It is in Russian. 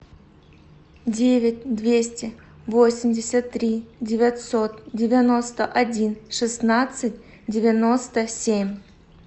девять двести восемьдесят три девятьсот девяносто один шестнадцать девяносто семь